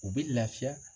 U bɛ lafiya